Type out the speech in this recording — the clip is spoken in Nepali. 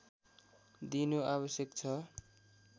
दिनु आवश्यक छ